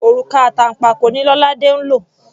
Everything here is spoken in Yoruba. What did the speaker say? Òrùka àtànpàkò ni Lolade ń lò.